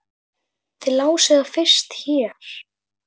Þið lásuð það fyrst hér!